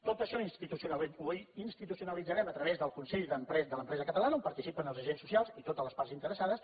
tot això ho institucionalitzarem a través del consell de l’empresa catalana on participen els agents socials i totes les parts interessades